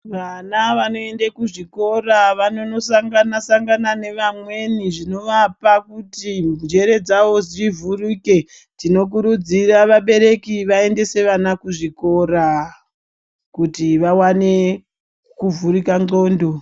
Vana vanoende kuzvikora vanondosangana sangana nevamweni kuti njere dzawo dzivhurike tinokuridzira vabereki kuti vaendese vana kuzvikora kuti vawane kuvhurika ndxondo.